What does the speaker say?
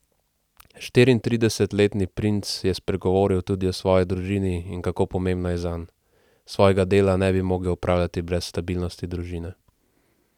Štiriintridesetletni princ je spregovoril tudi o svoji družini in kako pomembna je zanj: 'Svojega dela ne bi mogel opravljati brez stabilnosti družine.